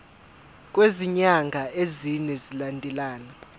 kwezinyanga ezine zilandelana